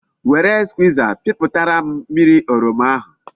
Were Skwiza piputara m mmiri oroma ahu